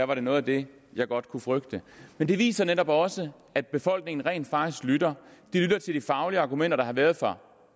var det noget af det jeg godt kunne frygte men det viser netop også at befolkningen rent faktisk lytter de lytter til de faglige argumenter der har været fra